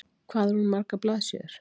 Hvað er hún margar blaðsíður?